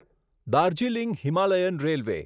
Darjeeling Himalayan railway